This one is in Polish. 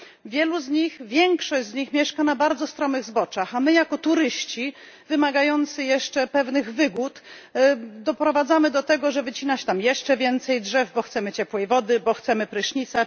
Wielu z nich, większość z nich mieszka na bardzo stromych zboczach, a my jako turyści wymagający jeszcze pewnych wygód doprowadzamy do tego, że wycina się tam jeszcze więcej drzew, bo chcemy ciepłej wody, bo chcemy prysznica.